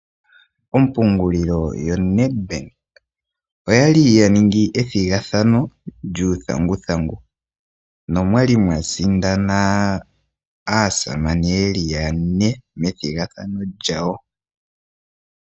Ompungulilo yo Ned Bank oyali ya ningi ethigathano djuu thanguthangu nomwali mwasindana aasamane yeli yane methigathano djawo.